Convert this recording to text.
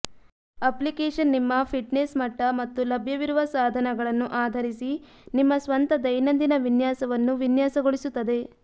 application ನಿಮ್ಮ fitness ಮಟ್ಟ ಮತ್ತು ಲಭ್ಯವಿರುವ ಸಾಧನಗಳನ್ನು ಆಧರಿಸಿ ನಿಮ್ಮ ಸ್ವಂತ ದೈನಂದಿನ ವಿನ್ಯಾಸವನ್ನು ವಿನ್ಯಾಸಗೊಳಿಸುತ್ತದೆ